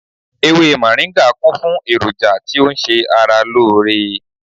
Ewé moringa kún fún èròjà tí ó ń ṣe ara lóore